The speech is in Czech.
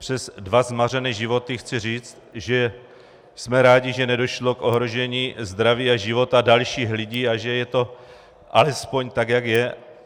Přes dva zmařené životy chci říct, že jsme rádi, že nedošlo k ohrožení zdraví a života dalších lidí a že je to alespoň tak, jak je.